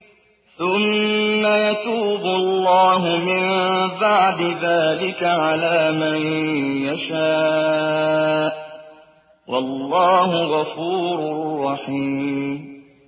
ثُمَّ يَتُوبُ اللَّهُ مِن بَعْدِ ذَٰلِكَ عَلَىٰ مَن يَشَاءُ ۗ وَاللَّهُ غَفُورٌ رَّحِيمٌ